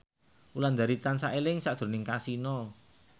Wulandari tansah eling sakjroning Kasino